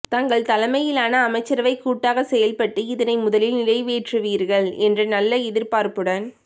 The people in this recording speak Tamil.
தங்கள் தலைமயிலான அமைச்சரவை கூட்டாக செயல் பட்டு இதனை முதலில் நிறைவேற்றுவீர்கள் என்ற நல்ல எதிர்பார்ப்புடன்